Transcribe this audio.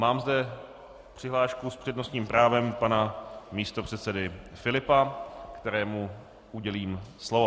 Mám zde přihlášku s přednostním právem pana místopředsedy Filipa, kterému udělím slovo.